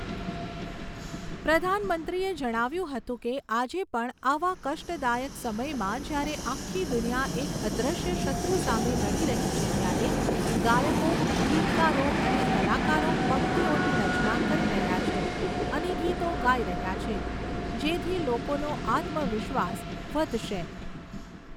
પ્રધાનમંત્રીએ જણાવ્યુંં હતું કે, આજે પણ, આવા કષ્ટદાયક સમયમાં જ્યારે આખી દુનિયા એક અદૃશ્ય શત્રુ સામે લડી રહી છે ત્યારે, ગાયકો, ગીતકારો અને કલાકારો પંક્તિઓની રચના કરી રહ્યા છે અને ગીતો ગાઈ રહ્યા છે જેથી લોકોનો આત્મવિશ્વાસ વધશે.